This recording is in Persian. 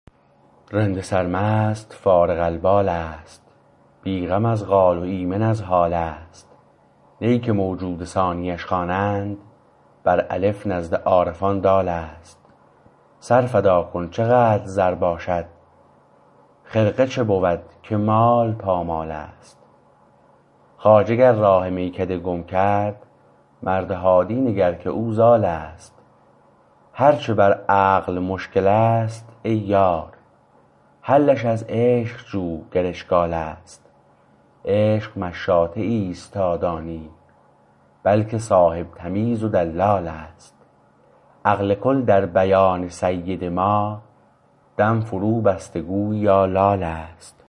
رند سرمست فارغ البال است بی غم از قال و ایمن از حال است نی که موجود ثانیش خوانند بر الف نزد عارفان دال است سر فدا کن چه قدر زر باشد خرقه چو بود که مال پامال است خواجه گر راه میکده گم کرد مرد هادی نگر که او ضال است هرچه بر عقل مشکلست ای یار حلش از عشق جو گر اشکال است عشق مشاطه ایست تا دانی بلکه صاحب تمیز و دلال است عقل کل در بیان سید ما دم فرو بسته گوییا لال است